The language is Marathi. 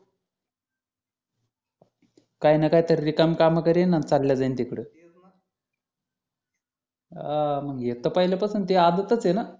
काही ना काहीतरी रिकाम काम करेल आणि चालला जाईल तिकडं हा म्हणजे ते पहिल्यापासून ते आदत च आहे ना